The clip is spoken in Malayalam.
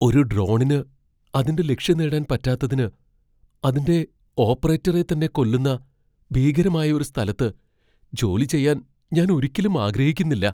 ഒരു ഡ്രോണിന് അതിന്റെ ലക്ഷ്യംനേടാൻ പറ്റാത്തതിന് അതിന്റെ ഓപ്പറേറ്ററെ തന്നെ കൊല്ലുന്ന ഭീകരമായ ഒരു സ്ഥലത്ത് ജോലി ചെയ്യാൻ ഞാൻ ഒരിക്കലും ആഗ്രഹിക്കുന്നില്ല.